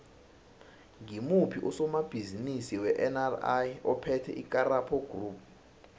ngimuphi usomabhizimisi wenri ophethe icaparo group